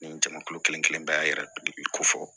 Nin jamukulu kelen kelen bɛɛ y'a yira ko fɔ